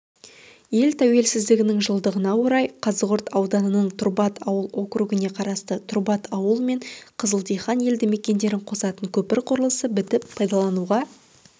ел тәуелсіздігінің жылдығына орай қазығұрт ауданының тұрбат ауыл округіне қарасты тұрбат ауылы мен қызылдихан елді мекендерін қосатын көпір құрылысы бітіп пайдалануға